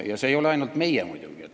Ja asi ei ole mitte ainult meis muidugi.